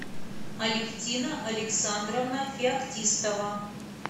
алевтина александровна феоктистова